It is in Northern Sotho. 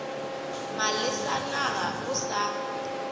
malesa na ga o sa